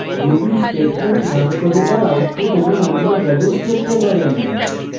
ruby statements run করে তার output এবং অন্য values দেখতে পারেন